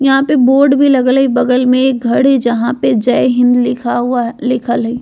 यहाँ पे बोर्ड भी लगल है बगल में एक घर है जहां पे जय हिन्द लिखा हुआ लिखल है।